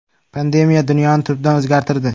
Pandemiya dunyoni tubdan o‘zgartirdi.